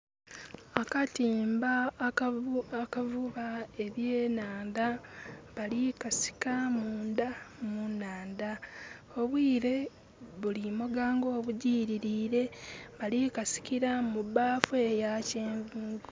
Akatimba akavuuba ebyenandha bali kasika munda mu naandha. Obwire bulimoga nga obugirire. Bali kasikira mu baffu eya kyenvuvu